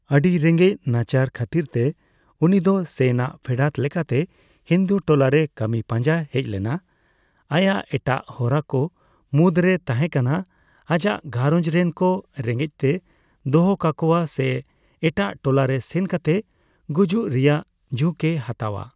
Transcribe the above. ᱟᱹᱰᱤ ᱨᱮᱸᱜᱮᱡᱽ ᱱᱟᱪᱟᱨ ᱠᱷᱟᱹᱛᱤᱨᱛᱮ, ᱩᱱᱤᱫᱚ ᱥᱮᱱᱼᱟᱜ ᱯᱷᱮᱰᱟᱛ ᱞᱮᱠᱟᱛᱮ ᱦᱤᱱᱫᱩ ᱴᱚᱞᱟᱨᱮ ᱠᱟᱹᱢᱤ ᱯᱟᱸᱡᱟᱭ ᱦᱮᱡᱞᱮᱱᱟ ; ᱟᱭᱟᱜ ᱮᱴᱟᱜ ᱦᱚᱨᱟ ᱠᱚ ᱢᱩᱫᱽᱨᱮ ᱛᱟᱦᱮᱸ ᱠᱟᱱᱟ ᱟᱡᱟᱜ ᱜᱷᱟᱨᱚᱸᱡᱽ ᱨᱮᱱ ᱠᱚ ᱨᱮᱸᱜᱮᱪᱛᱮᱭ ᱫᱚᱦᱚ ᱠᱟᱠᱚᱣᱟ ᱥᱮ ᱮᱴᱟᱜ ᱴᱚᱞᱟ ᱨᱮ ᱥᱮᱱ ᱠᱟᱛᱮ ᱜᱩᱡᱩᱜ ᱨᱮᱭᱟᱜ ᱡᱷᱩᱸᱠ ᱮ ᱦᱟᱛᱟᱣᱼᱟ ᱾